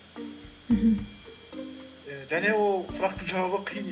мхм і және ол сұрақтың жауабы қиын